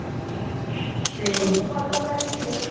ବହୁତ୍ ଭଲ କରିଥିଲେ